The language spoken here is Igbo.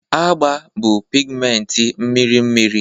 agba bụ pigmenti mmiri mmiri